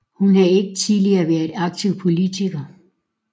Hun havde ikke tidligere været aktiv politiker